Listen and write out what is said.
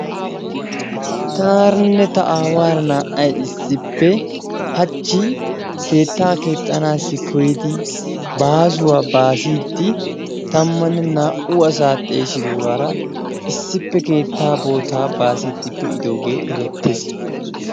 Tanaaranne ta aawara naa''ay issippe hachchi keetta keexxanassi koyyidi baasuwa baasiiddi tammanne naa''u asa xeesidoogara issippe keetta boota baasiidi pe'idooge erettes.